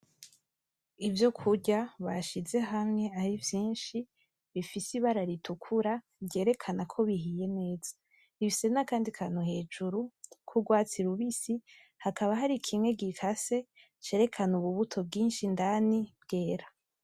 Ivyokurya bashize hamywe arivyishi bifise ibara ritukura ryerekana ko biheye neza. Bifise nakandi kantu hejuru k'urwatsi rubisi, hakaba hari kimwe gikase cerekana ububuto bwinshi indani bwera.